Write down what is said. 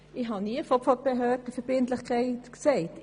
Ich habe nie von Behördenverbindlichkeit gesprochen.